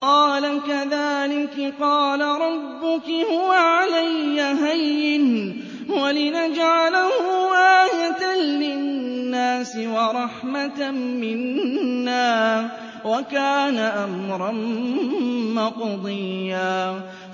قَالَ كَذَٰلِكِ قَالَ رَبُّكِ هُوَ عَلَيَّ هَيِّنٌ ۖ وَلِنَجْعَلَهُ آيَةً لِّلنَّاسِ وَرَحْمَةً مِّنَّا ۚ وَكَانَ أَمْرًا مَّقْضِيًّا